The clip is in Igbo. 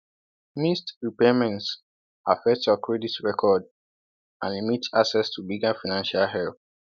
Missed repayments affect your credit record and limit access to bigger financial help.